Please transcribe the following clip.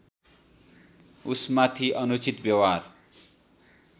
उसमाथि अनुचित व्यवहार